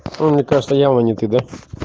ну не то что ява не ты да